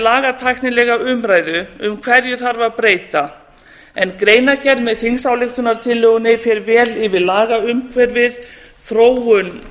lagatæknilega umræðu um hverju þarf að breyta en greinargerð með þingsályktunartillögunni fer vel yfir lagaumhverfið þróun